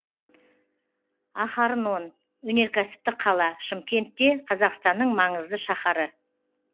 ахарнон өнеркәсіптік қала шымкент те қазақстанның маңызды шаһары